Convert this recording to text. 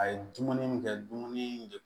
A ye dumuni min kɛ dumuni de